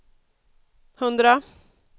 hundra